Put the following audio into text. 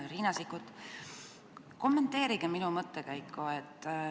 Hea Riina Sikkut, kommenteerige minu mõttekäiku.